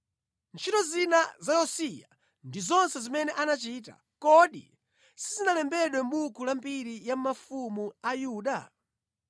Ntchito zina za Yosiya ndi zonse zimene anachita, kodi sizinalembedwe mʼbuku la mbiri ya mafumu a Yuda?